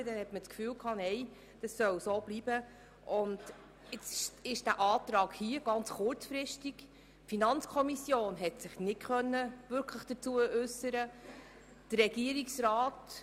Wer den Antrag der Grünen von Grossrätin Imboden auf Rückweisung der Anträge Machado zu Artikel 41 in die Kommission annehmen will, stimmt Ja, wer dies ablehnt, stimmt Nein.